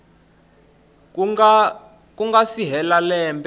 ku nga si hela lembe